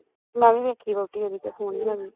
ਮੈਂ ਵੀ ਵੇਖੀ ਵਹੁਟੀ ਉਹਦੀ ਤਾਂ ਸੋਹਣੀ ਹੈਗੀ